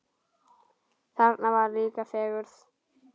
Þarna var líka fegurð.